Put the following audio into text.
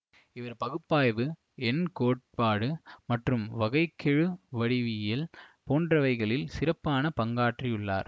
இவர் பகுப்பாய்வு எண் கோட்பாடு மற்றும் வகை கெழு வடிவியல் போன்றவைகளில் சிறப்பான பங்காற்றியுள்ளார்